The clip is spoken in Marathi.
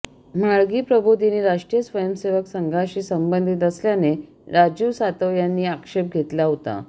म्हाळगी प्रबोधिनी राष्ट्रीय स्वयंसेवक संघाशी संबंधित असल्याने राजीव सातव यांनी आक्षेप घेतला होता